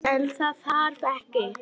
En það varð ekki.